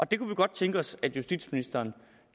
det kunne vi godt tænke os at justitsministeren